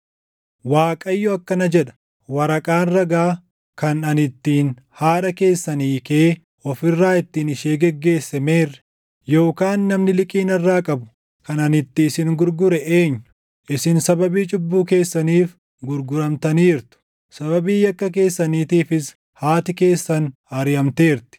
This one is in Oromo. Waaqayyo akkana jedha: “Waraqaan ragaa, kan ani ittiin haadha keessan hiikee of irraa ittiin ishee geggeesse meerre? Yookaan namni liqii narraa qabu kan ani itti isin gurgure eenyu? Isin sababii cubbuu keessaniif gurguramtaniirtu; sababii yakka keessaniitiifis haati keessan ariʼamteerti.